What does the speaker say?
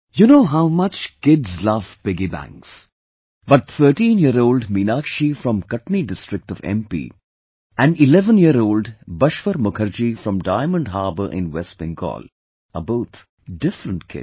You know how much kids love piggy banks, but 13yearold Meenakshi from Katni district of MP and 11yearold Bashwar Mukherjee from Diamond Harbor in West Bengal are both different kids